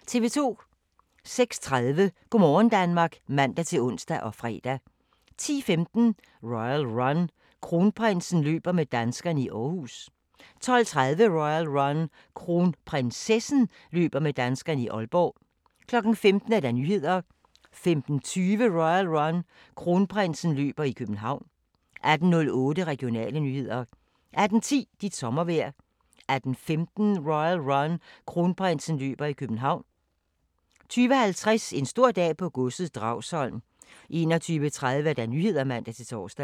06:30: Go' morgen Danmark (man-ons og fre) 10:15: Royal Run: Kronprinsen løber med danskerne i Aarhus 12:30: Royal Run: Kronprinsessen løber med danskerne i Aalborg 15:00: Nyhederne 15:20: Royal Run: Kronprinsen løber i København 18:08: Regionale nyheder 18:10: Dit sommervejr 18:15: Royal Run: Kronprinsen løber i København 20:50: En stor dag på godset - Dragsholm 21:30: Nyhederne (man-tor)